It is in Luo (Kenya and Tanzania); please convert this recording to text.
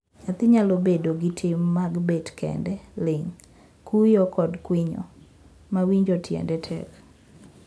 Nyathi nyalo bedo gi tim mag bet kend, ling', kuyo, kod kwinyo ma winjo tiend tek.